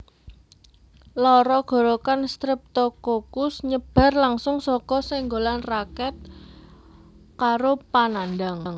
Lara gorokan Streptokokus nyebar langsung saka senggolan raket karo panandhang